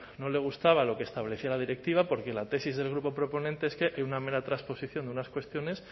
no le gustaba lo que establece la directiva porque en la tesis del grupo proponente es que hay una mera transposición de unas cuestiones